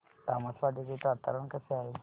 तामसवाडी चे वातावरण कसे आहे